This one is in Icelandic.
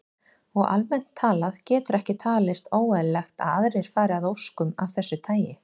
Og almennt talað getur ekki talist óeðlilegt að aðrir fari að óskum af þessu tagi.